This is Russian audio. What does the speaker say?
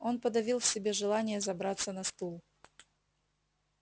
он подавил в себе желание забраться на стул